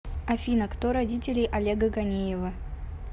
афина кто родители олега ганеева